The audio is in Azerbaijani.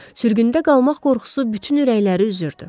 Sürgündə qalmaq qorxusu bütün ürəkləri üzürdü.